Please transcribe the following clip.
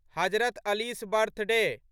Hazrat Ali's birthday